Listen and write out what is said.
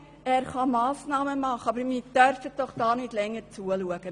Der Regierungsrat kann Massnahmen ergreifen, aber wir dürfen doch nicht länger zuschauen!